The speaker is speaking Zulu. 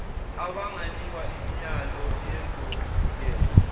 abanganikwa imiyalo yezokuvikela